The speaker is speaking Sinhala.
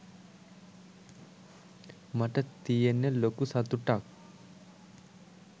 මට තියෙන්නෙ ලොකු සතුටක්